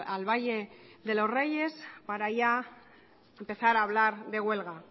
al valle de los reyes para ya empezar a hablar de huelga